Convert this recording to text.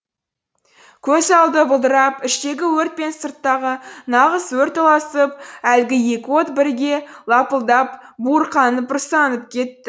көз алды бұлдырап іштегі өрт пен сырттағы нағыз өрт ұласып әлгі екі от біріге лапылдап буырқанып бұрсанып кетті